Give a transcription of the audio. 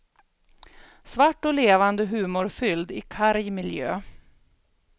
Svart och levande humorfylld i karg miljö.